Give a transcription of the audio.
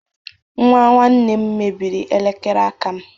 Nwa nwanne m mebịrị elekere aka m